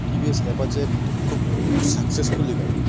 টি .V. S. Apache একটি খুব successfully গাড়ি।